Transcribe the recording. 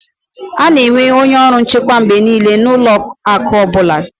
A na-enwe onye ọrụ nchekwa mgbe niile na ụlọ akụ ọ bụla